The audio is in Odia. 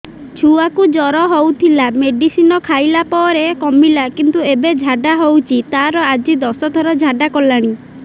ଛୁଆ କୁ ଜର ହଉଥିଲା ମେଡିସିନ ଖାଇଲା ପରେ କମିଲା କିନ୍ତୁ ଏବେ ଝାଡା ହଉଚି ତାର ଆଜି ଦଶ ଥର ଝାଡା କଲାଣି